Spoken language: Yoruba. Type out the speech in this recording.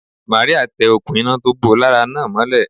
Màríà tẹ òkun iná tó bó lára náà mọ́lé